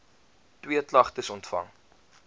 twee klagtes ontvang